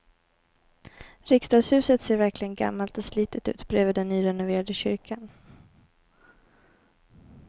Riksdagshuset ser verkligen gammalt och slitet ut bredvid den nyrenoverade kyrkan.